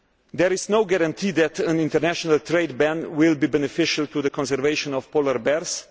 There is no guarantee that an international trade ban will be beneficial to the conservation of polar bears.